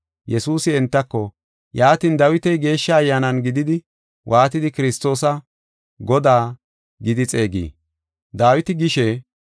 Yesuusi entako, “Yaatin, Dawiti Geeshsha Ayyaanan gididi waatidi Kiristoosa, ‘Godaa’ gidi xeegii? Dawiti gishe,